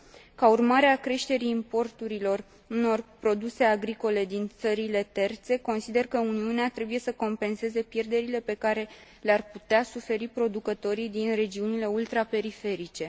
Ca urmare a creșterii importurilor unor produse agricole din țările terțe, consider că Uniunea trebuie să compenseze pierderile pe care le ar putea suferi producătorii din regiunile ultraperiferice.